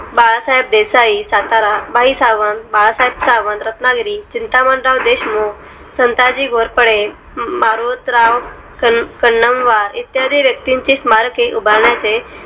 Balasaheb Desai Satara Bhai Sawant, Balasaheb Sawant, Ratnagiri, Chintamanrao Deshmukh, Santaji Ghorpade, Marotrao Kannamwar इत्यादी व्यक्तींची स्मारके उभारण्या चे